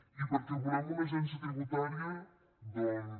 i perquè volem una agència tributaria doncs